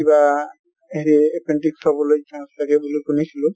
কিবা হেৰি appendix হʼব লৈ chance থাকে বুলি শুনিছিলো